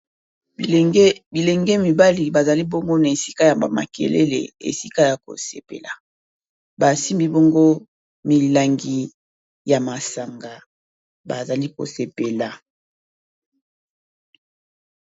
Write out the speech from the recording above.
bilenge mibali bazali bongo na esika ya ba makelele esika ya kosepela basi mbi bongo milangi ya masanga bazali kosepela